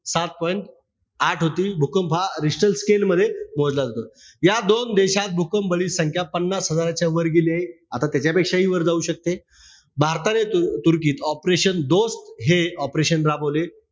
सात point आठ होती. भूकंप हा richter scale मध्ये मोजला जातो. या दोन देशात भुकंपबळी संख्या पन्नास हजाराच्या वर गेली आहे. आता त्याच्यापेक्षाही वर जाऊ शकते. भारताने तुर्कीत ऑपेरेशन दोस्त हे operation राबवले.